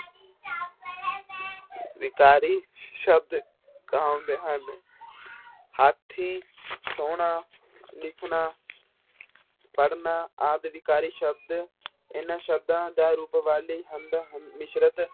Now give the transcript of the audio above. ਵਿਕਾਰੀ ਸ਼ਬਦ ਕਹਾਉਂਦੇ ਹਨ ਹਾਥੀ ਸੋਹਣਾ, ਲਿਖਣਾ ਪੜ੍ਹਨਾ ਆਦਿ ਵਿਕਾਰੀ ਸ਼ਬਦ ਇਹਨਾਂ ਸ਼ਬਦਾਂ ਦਾ ਰੂਪ ਵਾਲੀ ਹੁੰਦੇ ਹਨ, ਮਿਸ਼ਰਤ